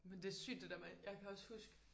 Men det sygt det der med jeg kan også huske